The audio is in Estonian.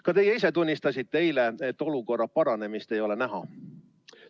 Ka teie ise tunnistasite eile, et olukorra paranemist ei ole näha.